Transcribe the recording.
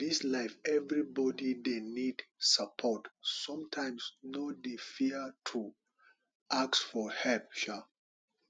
for dis life everybodi dey need support sometimes no dey fear to ask for help um